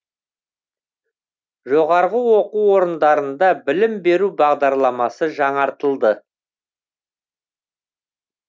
жоғарғы оқу орындарында білім беру бағдарламасы жаңартылды